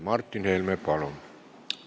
Martin Helme, palun!